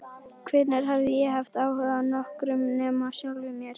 Hvenær hafði ég haft áhuga á nokkrum nema sjálfum mér?